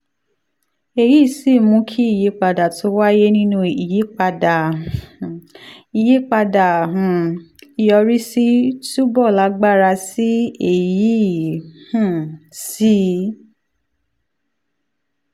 èyí sì um mú kí ìyípadà tó wáyé nínú ìyípadà um ìyípadà um ìyọrísí túbọ̀ lágbára sí i èyí um sì